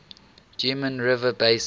geum river basin